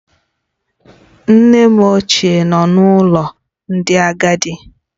Nne m ochie nọ n'ụlọ ndị agadi